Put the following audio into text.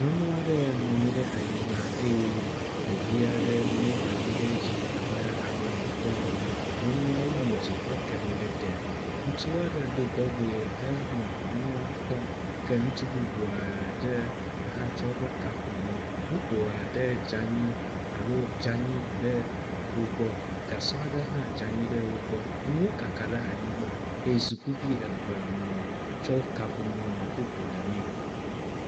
Nyɔnu aɖe nɔ anyi ɖe anyi eye ɖevi aɖe mlɔ anyi ɖe edzi abe alɔe wòdɔ ene. Nyɔnua wu mo dzi heke nu ɖe te, ŋutsu aɖe ɖo tɔgbe henɔ nyɔnua kpɔm ke ŋutsu bubu aɖe hã tsɔ eƒe kaƒomɔ. Moto aɖe dze anyi alo dze anyi ɖe wo gbɔ, gasɔ ɖe hã dze anyi ɖe wo gbɔ. Nuwo kaka ɖe anyigba eye sukuvi eve nɔ tsɔ kaƒomɔ nɔ foto ɖemee.